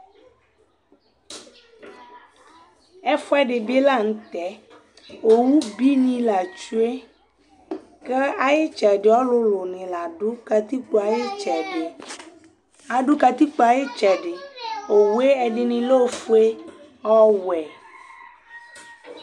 ɛfʊɛɗibilɑɲutɛ ọwụbini lɑkuɛ ɑyitsɛɗi ɔlʊlʊɲi lɑɗu kɑtikpoɑyitsɛɖi ọwuɛ ɛɗiɲi lɛ ọfʊɛ ɔwʊɛ